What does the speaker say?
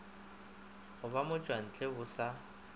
go ba motšwantle bo sa